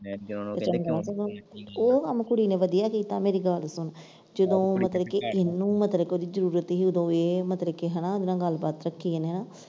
ਮੇਰੀ ਗੱਲ ਤੇ ਉਹ ਕੰਮ ਕੁੜੀ ਨੇ ਵਧੀਆ ਕੀਤਾ ਮੇਰੀ ਗੱਲ ਸੁਣ ਜਦੋਂ ਮਤਲਬ ਕਿ ਇਹਨੂੰ ਮਤਲਬ ਕਿ ਉਹਦੀ ਜਰੂਰਤ ਸੀ ਉਦੋਂ ਇਹ ਮਤਲਬ ਕਿ ਹਨਾ ਓਦਾਂ ਗੱਲਬਾਤ ਰੱਖੀ ਹਨਾ।